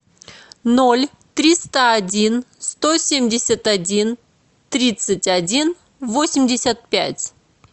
ноль триста один сто семьдесят один тридцать один восемьдесят пять